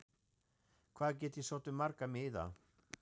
Hvað get ég sótt um marga miða?